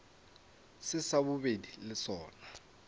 se sa bobedi le sona